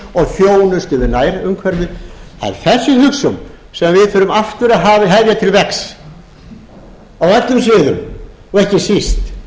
og þjónustu við nærumhverfið það er þessi hugsjón sem við þurfum aftur að hefja til vegs á öllum sviðum og ekki síst